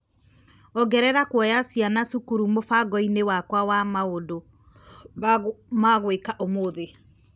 Ongerera kuoya ciana cukuru mũbango-inĩ wakwa wa maũndũ ma gwĩka ũmũthĩ .